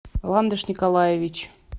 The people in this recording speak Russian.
ландыш николаевич